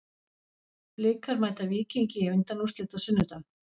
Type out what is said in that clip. Blikar mæta Víkingi í undanúrslitum á sunnudag.